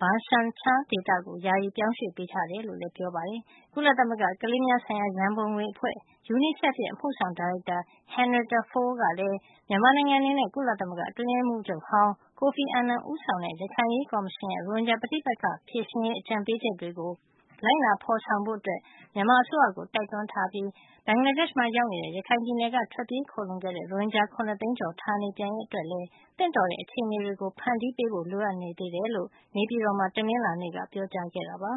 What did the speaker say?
Bha Shan Char ဒေသကို ယာယီပြောင်းရွှေ့ပေးထားတယ် လို့လည်း ပြောပါတယ်။ ကုလသမဂ္ဂ ကလေးများဆိုင်ရာ ရန်ပုံငွေအဖွဲ့ UNICEF အမှုဆောင် ဒါရိုက်တာ Henrietta Fore ကလည်း မြန်မာနိုင်ငံ အနေနဲ့ ကုလသမဂ္ဂ အတွင်းရေးမှူးချုပ်ဟောင်း ကိုဖီအာနန် ဦးဆောင်တဲ့ ရခိုင်အရေးကော်မရှင်ရဲ့ ရိုဟင်ဂျာ ပဋိပက္ခ ဖြေရှင်းရေး အကြံပေးချက်တွေကို လိုက်နာ ဖေါ်ဆောင်ဖို့ မြန်မာအစိုးရကို တိုက်တွန်းလိုက်ပြီး ဘင်္ဂလားဒေ့ရှ်မှာ ရောက်ရှိနေတဲ့ ရခိုင်ပြည်နယ်က ထွက်ပြေးခိုလှုံတဲ့ ရိုဟင်ဂျာ ၇ သိန်းကျော် ဌာနေ ပြန်ရေး အတွက်လည်း သင့်တော်တဲ့ အခြေနေတွေ ဖန်တီးပေးဖို့ လိုအပ်နေသေးကြောင်း နေပြည်တော်မှာ တနင်္လာနေ့ ပြောကြားခဲ့ပါ